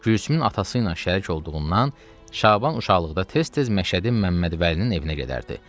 Gülsümün atası ilə şərik olduğundan, Şaban uşaqlıqda tez-tez Məşədi Məmmədvəlinin evinə gedərdi.